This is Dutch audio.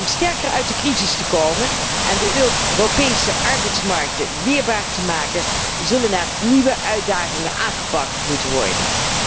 Om sterker uit de crisis te komen en de Europese arbeidsmarkten weerbaar te maken, zullen er nieuwe uitdagingen aangepakt moeten worden.